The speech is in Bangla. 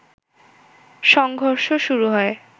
সংঘর্ষ শুরু হয়